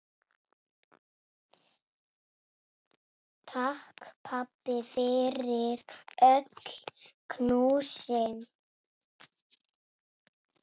Takk, pabbi, fyrir öll knúsin.